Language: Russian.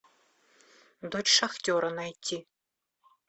дочь шахтера найти